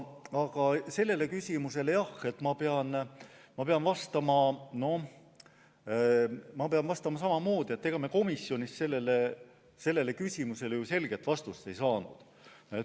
Aga sellele küsimusele pean ma vastama samamoodi, et komisjonis me sellele selget vastust ei saanud.